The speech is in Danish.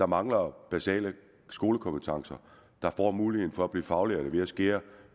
mangler basale skolekompetencer der får mulighed for at blive faglærte ved at skære